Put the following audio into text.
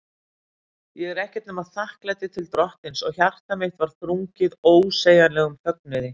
Ég var ekkert nema þakklæti til Drottins, og hjarta mitt var þrungið ósegjanlegum fögnuði.